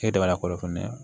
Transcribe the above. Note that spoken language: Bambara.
E dabala ko fɛnɛ